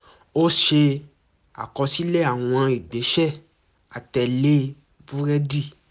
ó ṣe àkọsílẹ̀ àwọn ìgbésẹ̀ àtẹ̀lé búrẹ́dì